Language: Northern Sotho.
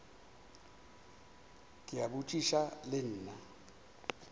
ke a botšiša le nna